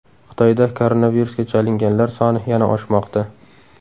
Xitoyda koronavirusga chalinganlar soni yana oshmoqda.